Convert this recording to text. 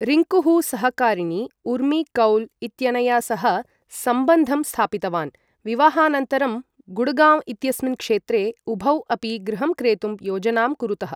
रिङ्कुः सहकारिणी उर्मी कौल् इत्यनया सह सम्बन्धं स्थापितवान्, विवाहानन्तरं गुडगांव इत्यस्मिन् क्षेत्रे उभौ अपि गृहं क्रेतुं योजनां कुरुतः।